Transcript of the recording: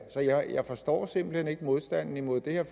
så jeg forstår simpelt hen ikke modstanden mod det her